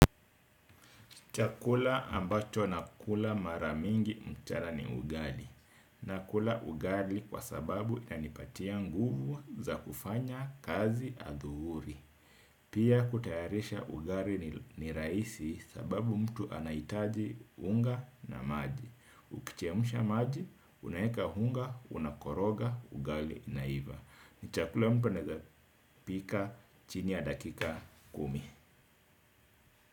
Chakula ambacho nakula mara mingi mchana ni ugali. Nakula ugali kwa sababu inanipatia nguvu za kufanya kazi adhuhuri. Pia kutayarisha ugali ni rahisi sababu mtu anahitaji unga na maji. Ukichemsha maji, unaeka unga, unakoroga ugali inaiva. Ni chakula mtu anaezapika chini ya dakika kumi.